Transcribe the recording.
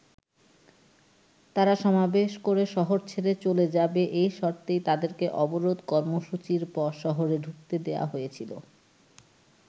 তারা সমাবেশ করে শহর ছেড়ে চলে যাবে এই শর্তেই তাদেরকে অবরোধ কর্মসুচির পর শহরে ঢুকতে দেয়া হয়েছিল।